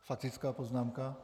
Faktická poznámka?